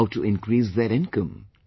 How to increase their income